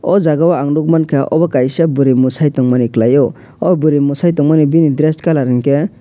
oh jagao ang nukmankha obo kaisa bwrwi mwsai tongmani kwlaiyo oh bwrwi mwsai tongmani bini dress colour hwnkhe.